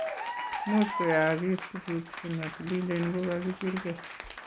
Much koyaagis tuguk chematililen ngokagibirgei